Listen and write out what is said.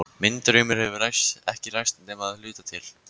Minn draumur hefur ekki ræst nema að hluta til.